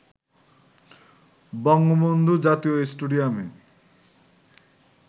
বঙ্গবন্ধু জাতীয় স্টেডিয়ামে